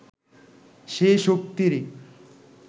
সেই শক্তিরই